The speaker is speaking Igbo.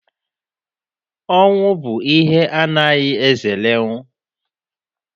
Ọnwụ bụ ihe a na-agaghị ezerenwu.